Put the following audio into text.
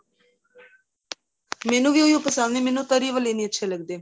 ਮੈਨੂੰ ਵੀ ਉਹ ਹੋ ਪਸੰਦ ਏ ਮੈਨੂੰ ਤਰੀ ਵਾਲੇ ਅੱਛੇ ਨਹੀਂ ਲੱਗਦੇ